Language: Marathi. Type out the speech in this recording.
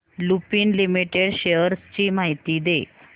लुपिन लिमिटेड शेअर्स ची माहिती दे